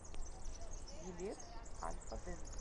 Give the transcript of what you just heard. билет альфа дент